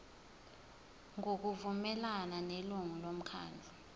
ngokuvumelana nelungu lomkhandlu